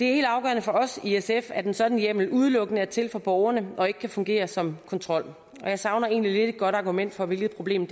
helt afgørende for os i sf at en sådan hjemmel udelukkende er til for borgerne og ikke kan fungere som kontrol jeg savner egentlig lidt et godt argument for hvilket problem